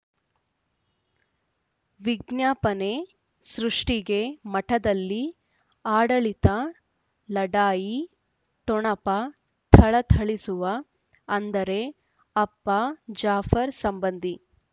ವಿಜ್ಞಾಪನೆ ಸೃಷ್ಟಿಗೆ ಮಠದಲ್ಲಿ ಆಡಳಿತ ಲಢಾಯಿ ಠೊಣಪ ಥಳಥಳಿಸುವ ಅಂದರೆ ಅಪ್ಪ ಜಾಫರ್ ಸಂಬಂಧಿ